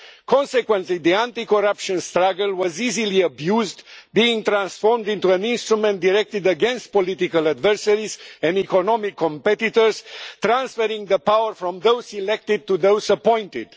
Consequently, the anti-corruption struggle was easily abused, being transformed into an instrument directed against political adversaries and economic competitors transferring power from those elected to those appointed.